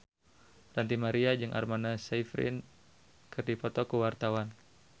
Ranty Maria jeung Amanda Sayfried keur dipoto ku wartawan